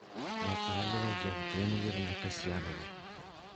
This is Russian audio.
наталия евгеньевна касьянова